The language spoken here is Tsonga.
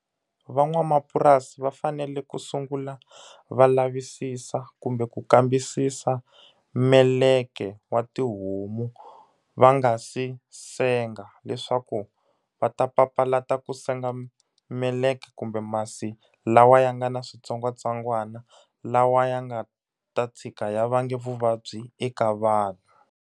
Van'wamapurasi va fanele ku sungula va lavisisa kumbe ku kambisisa meleke wa tihomu va nga si senga. Leswaku va ta papalata ku senga meleka kumbe masi lawa ya nga na switsongwatsongwana, lawa ya nga ta tshika ya vange vuvabyi eka vanhu.